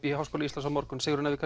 í Háskóla Íslands á morgun Sigrún ef við